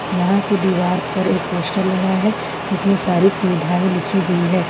यहां की दीवार पर एक पोस्टर लगा है जिसमें सारी सुविधाएं लिखी हुई हैं।